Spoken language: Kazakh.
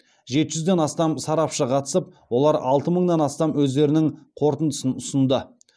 жеті жүзден астам сарапшы қатысып олар алты мыңнан астам өздерінің қорытындысын ұсынды